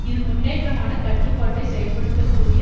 இது முன்னேற்றமான கட்டுப்பாட்டை செயல்படுத்தக்கூடிய